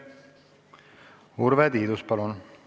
Urve Tiidus, palun!